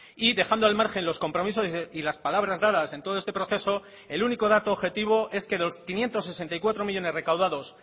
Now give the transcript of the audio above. y dejando al margen los compromisos y las palabras dadas en todo este proceso el único dato objetivo es que los quinientos sesenta y cuatro millónes recaudados